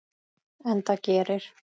Enda gerir